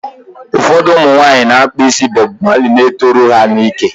Ụfọdụ ụmụnwaanyị na-akpa ísí Bọb Mali na-etoru ha n'íkè.